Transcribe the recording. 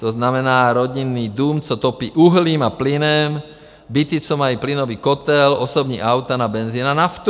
To znamená, rodinný dům, co topí uhlím a plynem, byty, co mají plynový kotel, osobní auta na benzin a naftu.